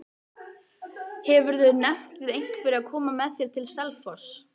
Hefurðu nefnt við einhverja að koma með þér til Selfoss?